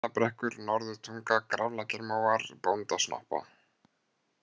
Steinabrekkur, Norðurtunga, Graflækjarmóar, Bóndasnoppa